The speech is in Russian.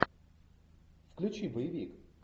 включи боевик